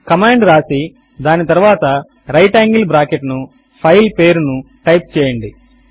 command వ్రాసి దాని తరువాత రైట్ యాంగిల్ బ్రాకెట్ ను ఫైల్ పేరు ను టైప్ చేయండి